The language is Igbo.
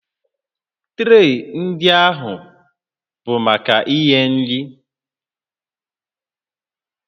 Tree ndị ahụ bụ maka inye nri